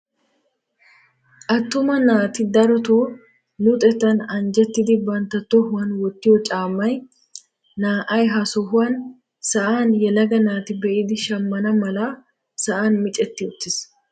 Attuma naati darotoo luxettan anjjettiidi bantta tohuwaan wottiyoo caammay naa"ay ha sohuwaan sa'an yelaga naati be'iidi shammana mala sa'an micetti uttiis.